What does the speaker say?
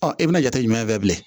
i bɛna jate jumɛn fɛ bilen